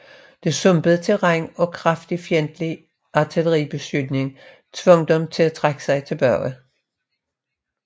Det sumpede terræn og kraftig fjendtlig artilleribeskydning tvang dem til at trække sig tilbage